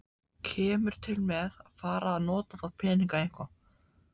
Kemur til með að fara að nota þá peninga eitthvað?